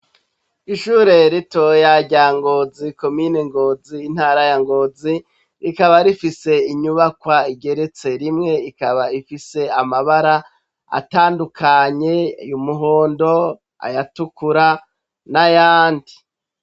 Ishure ritoya rya Ngozi, komine Ngozi, intara ya Ngozi, rikaba rifise inyubakwa igeretse rimwe; ikaba ifise amabara atandukanye, y'umuhondo, ayatukura, n'ayandi.